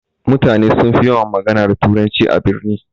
Mutane sunfi yawan magana da turanci a birni.